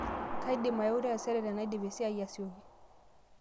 kaidim aeu taisere tenaidip esiai asioki